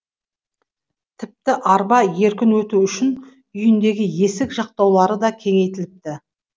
тіпті арба еркін өту үшін үйіндегі есік жақтаулары да кеңейтіліпті